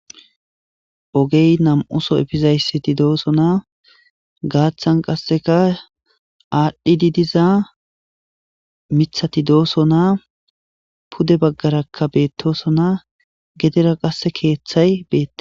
ogey nam'uso efizayssiti doosonaa gaaththan qasseka aadhdhidi diza mithati doosonaa pude baggarakka beettosonaa gedera qasse keeththay beettes